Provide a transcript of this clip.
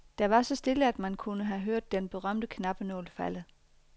Der var så stille, at man kunne have hørt den berømte knappenål falde.